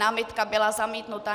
Námitka byla zamítnuta.